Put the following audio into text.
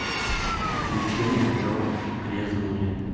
приключения джо грязнули